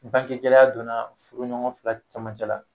Bange gɛlɛya donna furuɲɔgɔn fila camancɛ la.